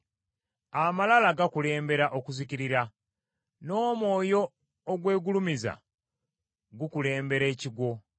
Amalala gakulembera okuzikirira, n’omwoyo ogwegulumiza gukulembera ekigwo.